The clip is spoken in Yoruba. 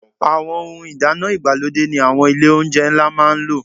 Àwọn ohun ìdáná ìgbàlódé ni àwọn ilé-oúnjẹ ńlá máa ń lò.